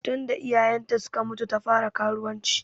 Tun da iyayen ta suka mutu ta fara karuwanci.